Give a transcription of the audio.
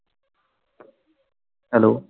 Hello